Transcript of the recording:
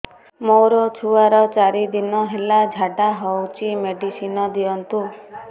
ମୋର ଛୁଆର ଚାରି ଦିନ ହେଲା ଝାଡା ହଉଚି ମେଡିସିନ ଦିଅନ୍ତୁ